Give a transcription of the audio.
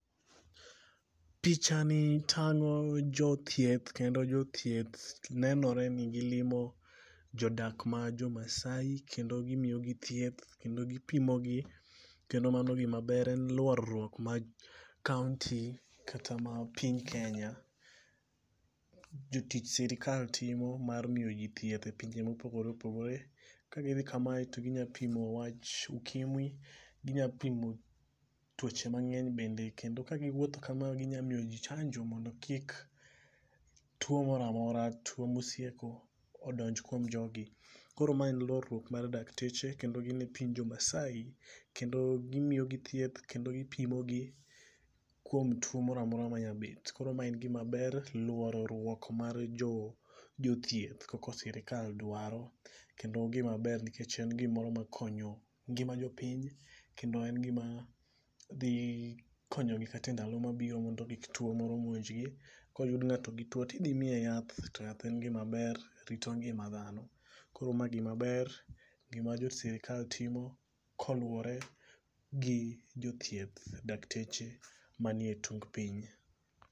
Pichani tang'o jothieth kendo jothieth nenore ni gilimo jodak ma jomaasai kendo gimiyogi thieth kendo gipimogi kendo mano gimaber en luorruok mar kaonti kata ma piny Kenya. jotich sirikal timo mar miyo ji thieth e pinje mopogore opogore, kagidhi kamae to ginya pimo wach ukimwi, ginya pimo tuoche mang'eny bende kendo ka giwuotho kama ginya miyo ji chanjo mondo kik tuo moro amora tuo mosieko odonj kuom jogi. Koro ma en luorruok mar dakteche kendo gin e piny jomaasai kendo gimiyogi thieth kendo gipimogi kuom tuo moro amora manyabet. Koro ma en gimaber luorruok mar jothieth koko sirikal dwaro kendo ogimaber nikech en gimoro makonyo ngima jopiny, kendo en gima dhikonyogi kata e ndalo mabiro mondo kik tuo moro monjgi koyud ng'ato gi tuo tidhimiye yath to yath en gimaber rito ngima dhano. Koro ma gimaber, gima jo sirikal timo koluwore gi jothieth dakteche manie tung piny.